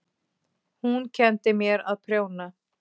Hún kenndi mér að prjóna.